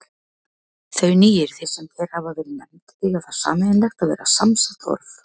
Þau nýyrði, sem hér hafa verið nefnd, eiga það sameiginlegt að vera samsett orð.